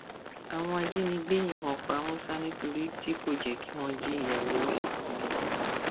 àwọn ajínigbé yìnbọn pa musa nítorí tí kò jẹ kí wọn jíyàwó ẹ gbé lọ